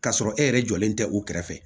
K'a sɔrɔ e yɛrɛ jɔlen tɛ u kɛrɛfɛ